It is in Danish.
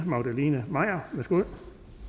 magdalene maier værsgo